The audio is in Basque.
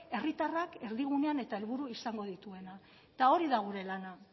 herritarrak erdigunean eta helburu izango dituena eta hori da gure lana